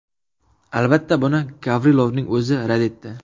Albatta, buni Gavrilovning o‘zi rad etdi.